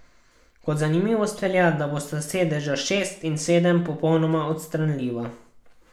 Kot zanimivost velja, da bosta sedeža šest in sedem popolnoma odstranljiva.